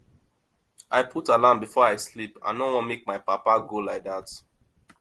i put alarm before i sleep i no wan make my papa go like dat